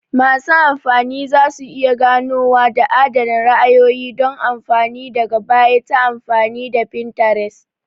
Masu amfani za su iya ganowa da adana ra'ayoyi don amfani daga baya ta amfani da Pinterest